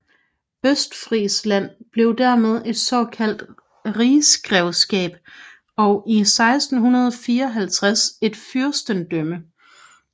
Østfrisland blev dermed et såkaldt rigsgrevskab og i 1654 et fyrstendømme